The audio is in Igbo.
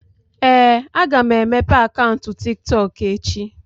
Ee, aga m emepe akaụntụ TikTok echi.